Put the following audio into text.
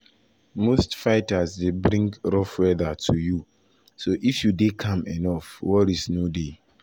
most fighters most fighters dey bring 'rough weather' to you so if you dey calm enough worries no dey."